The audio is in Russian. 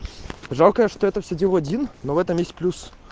жалко что я это все делаю один но в этом есть плюс